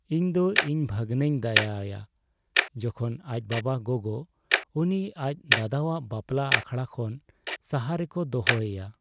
ᱤᱧᱫᱚ ᱤᱧ ᱵᱷᱟᱹᱜᱱᱟᱹᱧ ᱫᱟᱭᱟ ᱟᱭᱟ ᱡᱚᱠᱷᱚᱱ ᱟᱡ ᱵᱟᱵᱟᱼᱜᱳᱜᱳ ᱩᱱᱤ ᱟᱡ ᱫᱟᱫᱟᱣᱟᱜ ᱵᱟᱯᱞᱟ ᱟᱠᱷᱲᱟ ᱠᱷᱚᱱ ᱥᱟᱦᱟ ᱨᱮᱠᱚ ᱫᱚᱦᱚᱭᱮᱭᱟ ᱾